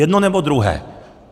Jedno, nebo druhé.